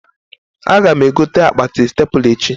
Aga m egote akpati stepla echi